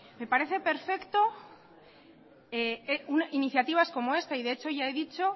me parece perfecto iniciativas como esta de hecho ya he dicho